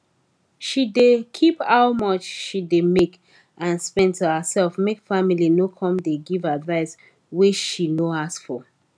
she dey keep how much she dey make and spend to herself make family no come dey give advice wey she no ask for